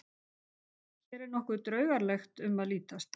Hér er nokkuð draugalegt um að lítast.